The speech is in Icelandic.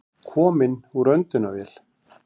Kominn úr öndunarvél